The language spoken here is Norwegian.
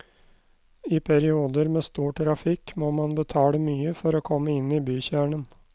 I perioder med stor trafikk må man betale mye for å komme inn i bykjernen.